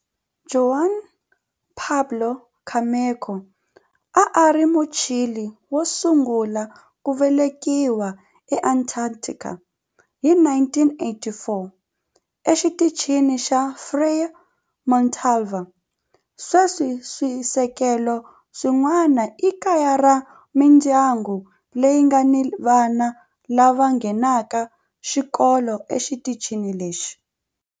Juan Pablo Camacho a a ri Muchile wo sungula ku velekiwa eAntarctica hi 1984 eXitichini xa Frei Montalva. Sweswi swisekelo swin'wana i kaya ra mindyangu leyi nga ni vana lava nghenaka xikolo exitichini lexi.